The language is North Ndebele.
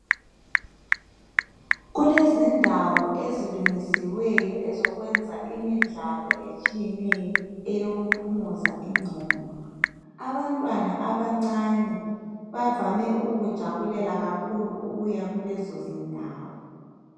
Kulezindawo ezilungisiweyo ezokwenza imidlalo etshiyeneyo eyokuphumuza ingqondo. Abantwana abancane bavame ukukujabulela kakhulu ukuya kulezo zindawo.